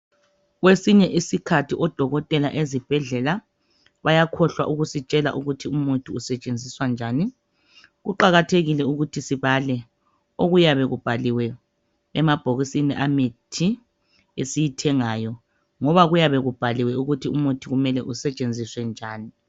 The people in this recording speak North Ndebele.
Kwesinye isikhathi odokotela ezibhedlela bayakhohlwa ukusitshela ukuthi umuthi usetshenziswa njani kuqakathekile ukuthi sibale okuyabe kubhaliwe emabhokisini emithi esiyithengayo ngoba kuyabe kubhaliwe ukuthi umuthi kumele usetshenziswe njani